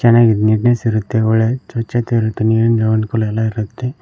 ಚೆನ್ನಾಗಿ ನೀಟ್ನೆಸ್ ಇರುತ್ತೆ ಒಳ್ಳೆ ಚಚ್ಛತೆ ಇರುತ್ತೆ ನೀರಿನ ಎಲ್ಲಾ ಇರುತ್ತೆ.